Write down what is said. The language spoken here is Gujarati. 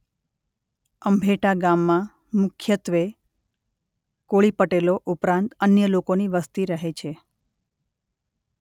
અંભેટા ગામમાં મુખ્યત્વે કોળી પટેલો ઉપરાંત અન્ય લોકોની વસ્તી રહે છે.